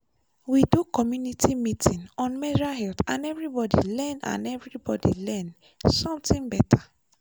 we do community meeting on menstrual hygiene and everybody learn and everybody learn something better.